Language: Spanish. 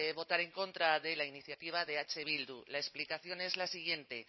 votar en contra de la iniciativa de eh bildu y la explicación es la siguiente